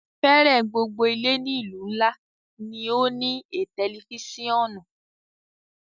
Fẹẹrẹ gbogbo ile ni ilu nla ni o ni a tẹlifisiọnu